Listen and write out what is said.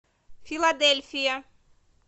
филадельфия